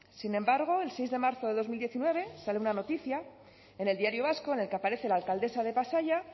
sin embargo el seis de marzo de dos mil diecinueve sale una noticia en el diario vasco en el que aparece la alcaldesa de pasaia